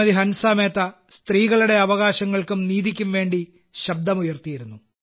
ഹൻസ മേത്ത സ്ത്രീകളുടെ അവകാശങ്ങൾക്കും നീതിയ്ക്കും വേണ്ടി ശബ്ദമുയർത്തിയിരുന്നു